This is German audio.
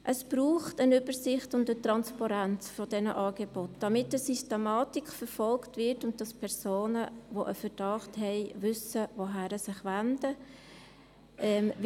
Es braucht eine Übersicht und eine Transparenz dieser Angebote, damit eine Systematik verfolgt wird und damit Personen, die einen Verdacht haben, wissen, wohin sie sich wenden können.